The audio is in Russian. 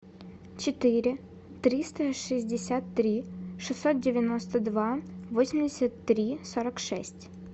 четыре триста шестьдесят три шестьсот девяносто два восемьдесят три сорок шесть